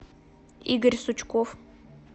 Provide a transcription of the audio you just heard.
игорь сучков